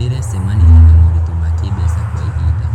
Ndĩrecemanirie na moritũ ma kĩmbeca kwa ihinda.